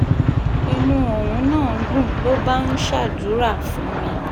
inú òun náà dùn ló bá ń ṣàdúrà fún mi